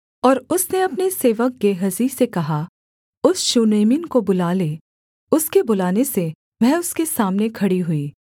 और उसने अपने सेवक गेहजी से कहा उस शूनेमिन को बुला ले उसके बुलाने से वह उसके सामने खड़ी हुई